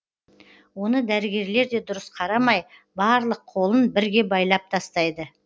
оны дәрігерлер де дұрыс қарамай барлық қолын бірге байлап тастайды